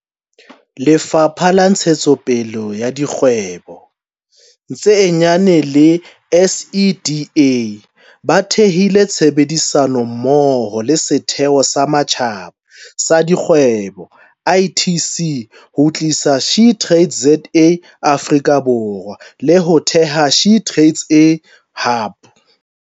Lefapha la Ntshetsopele ya Dikgwebo tse Nyane le SEDA ba thehile tshebedisano mmoho le Setheo sa Matjhaba sa Dikgwebo, ITC, ho tlisa SheTradesZA Afrika Borwa, le ho theha SheTradesZA Hub.